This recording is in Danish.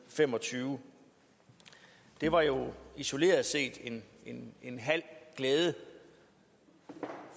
og fem og tyve det var jo isoleret set en halv glæde